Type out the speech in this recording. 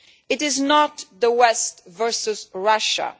It is not the West versus Russia.